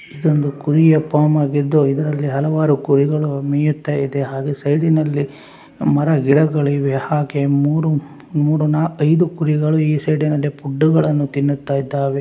ಇದೊಂದು ಕುರಿಯ ಫಾರ್ಮ್ ಆಗಿದ್ದು ಇದರಲ್ಲಿ ಹಲವಾರು ಕುರಿಗಳು ಮೇಯುತ್ತಾ ಇದೆ ಹಾಗು ಸೈಡ್‌ನಲ್ಲಿ ಮರಗಿಡಗಳು ಇವೇ ಹಾಗೆ ಮುರು ಮುರು ನಾಕೈದು ಕುರಿಗಳು ಇ ಸೈಡ್‌ನಲ್ಲಿ ಫುಡ್‌ಗಳನ್ನು ತಿನ್ನುತ್ತ ಇದ್ದಾವೆ.